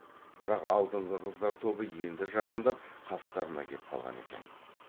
бірақ алдыңғы қыздар тобы енді жақындап қастарына кеп қалған екен